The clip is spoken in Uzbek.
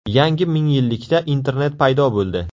Yangi mingyillikda internet paydo bo‘ldi.